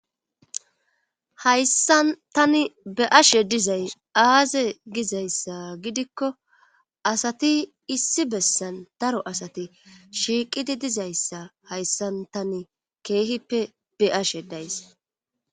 hayssan tani be ashe dizay aaze gizayssa gidikko asati issi bessan daro asati shiiqidi dizayssa hayssan tani keehippe beashe days